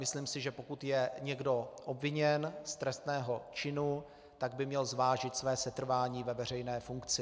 Myslím si, že pokud je někdo obviněn z trestného činu, tak by měl zvážit své setrvání ve veřejné funkci.